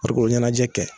Farikolo ɲɛnajɛ kɛ